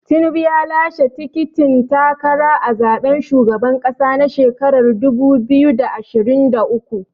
Tinubu ya lashe tikitin takara a zaɓen shugaban ƙasa na shekarar dubu biyu da ashirin da uku.